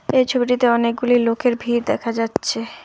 এই ছবিটিতে অনেকগুলি লোকের ভিড় দেখা যাচ্ছে।